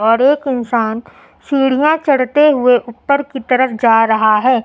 और एक इंसान सीढ़ियां चढ़ते हुए उप्पर की तरफ जा रहा है।